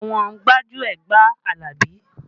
Àwọn gbájúẹ̀ gba Alabi